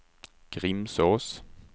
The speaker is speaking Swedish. Grimsås